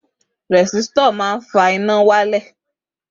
Rẹ̀sítọ̀ fa fífa lẹ̀ ṣíṣan iná